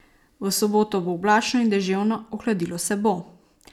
V soboto bo oblačno in deževno, ohladilo se bo.